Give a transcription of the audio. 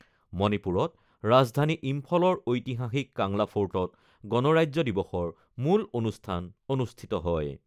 মণিপুৰত ৰাজধানী ইম্ফলৰ ঐতিহাসিক কাংলা ফৰ্টত গণৰাজ্য দিৱসৰ মুল অনুষ্ঠান অনুষ্ঠিত হয়।